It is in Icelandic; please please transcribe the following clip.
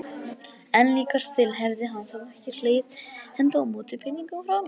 En líkast til hefði hann þó ekki slegið hendi á móti peningum frá mér.